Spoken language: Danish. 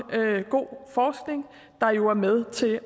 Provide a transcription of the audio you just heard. god forskning der jo er med til at